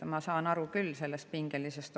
Ma saan aru olukorra pingelisusest.